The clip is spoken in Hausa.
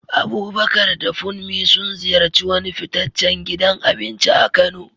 Abubakar da Funmi sun ziyarci wani fitaccen gidan abinci a Kano.